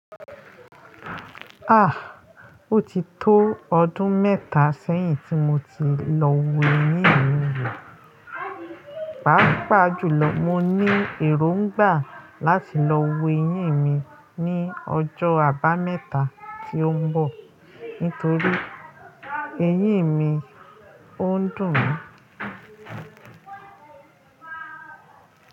Ah! O ti tó ọdún mẹ́ta sẹ́yìn tí mo ti lọ wó eyín mi wò. Páápàá jùlọ, mo ní èròngbà láti lọ́ wo eyín mi ní ọjọ́ àbámẹ́ta tí ó ń bọ̀ nítorí eyín mi ò ń dùn mí.